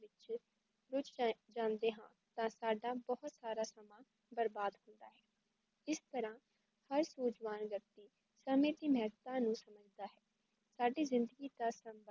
ਕੁਝ Time ਜਾਂਦਾ ਹੈ ਤਾਂ ਸਾਡਾ ਬਹੁਤ ਸਾਰਾ ਸਮਾਂ ਬਰਬਾਦ ਹੋ ਜਾਂਦਾ ਹੈ ਇਸ ਤਰਹਾ ਹਰ ਸੂਜਵਾਨ ਵਿਯਕਤੀ ਸਮੇ ਦੇ ਮਹੱਤਵ ਨੂ ਸਮਝਦਾ ਹੈ ਸਾਡੀ ਜ਼ਿੰਦਗੀ ਦਾ ਸੰਬੰਧ